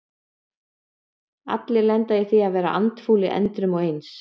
Allir lenda í því að vera andfúlir endrum og eins.